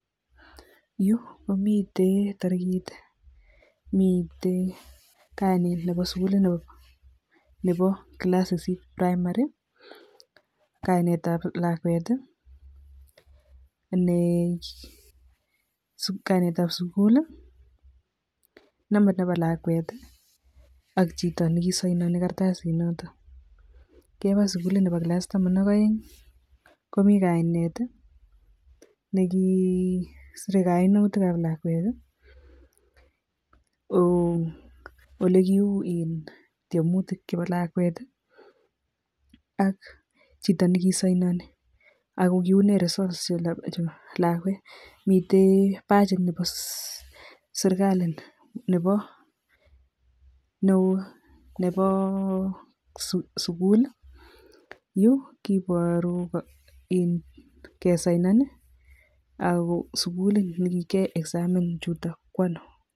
Yu ko miten tarikit, miten, tanil nebo sukuliyt nebo class sisit primary, kainetab lakwet, kainetab sukul, nambat nebo lakwet ak chito ne kiasainoni karatasit noto, kebo sukulit nebo taman ak oeng komi kainet ne kisere kainutikab lakwet, ole kiuu eng tyemutik chebo lakwet ak chito ne kisainoni ak kiunee results chebo lakwet, mite badgit nebo sirikali neu nebo um sukul yu kiboru um kisainon ako sukul ne kikiae examin chuto ko ano.